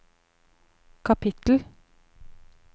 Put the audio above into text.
kapittel